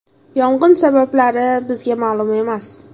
Yong‘in sabablari bizga ma’lum emas.